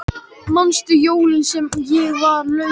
Manstu jólin sem ég var lasin.